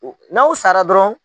N'aw sara dɔrɔn